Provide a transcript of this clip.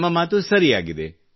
ತಮ್ಮ ಮಾತು ಸರಿಯಾಗಿದೆ